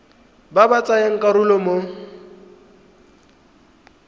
ba ba tsayang karolo mo